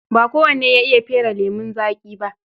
Ba kowane ya iya fere lemon zaƙi ba.